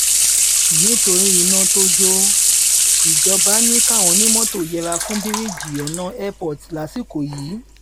nítorí iná tó jó o ìjọba ni káwọn onímọ́tò yẹra fún bíríìjì ọ̀nà airport lásìkò yìí